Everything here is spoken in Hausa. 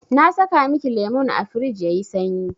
Na saka miki lemun a firij yayi sanyi.